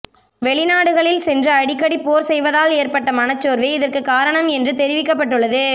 வெளிநாடுகளில் சென்று அடிக்கடி போர் செய்வதால் ஏற்பட்ட மனச்சோர்வே இதற்கு காரணம் என்றும் தெரிவிக்கப்பட்டுள்ளது